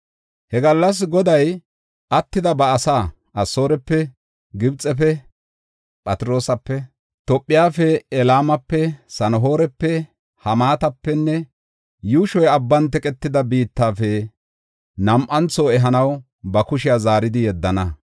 He gallas Goday attida ba asaa, Asoorepe, Gibxefe, Phatroosape, Tophefe, Elaamape, Sana7oorepe, Hamaatapenne yuushoy abban teqetida biittafe nam7antho ehanaw ba kushiya zaaridi yeddana.